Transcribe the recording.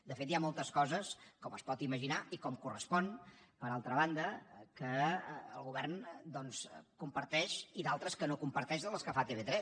de fet hi ha moltes coses com es pot imaginar i com correspon per altra banda que el govern comparteix i d’altres que no comparteix de les que fa tv3